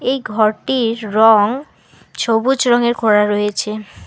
এই ঘরটির রং ছবুজ রঙের করা রয়েছে।